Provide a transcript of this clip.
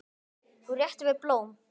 Þú réttir mér blóm.